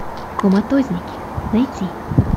коматозники найти